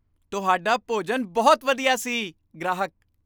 ਤੁਹਾਡਾ ਭੋਜਨ ਬਹੁਤ ਵਧੀਆ ਸੀ ਗ੍ਰਾਹਕ